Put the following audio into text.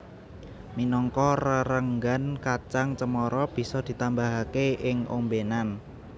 Minangka rerenggan kacang cemara bisa ditambahake ing ombenan